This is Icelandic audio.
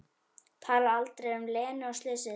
Talar aldrei um Lenu og slysið.